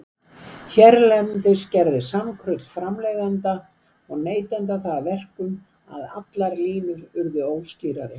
Hérlendis gerði samkrull framleiðenda og neytenda það að verkum, að allar línur urðu óskýrari.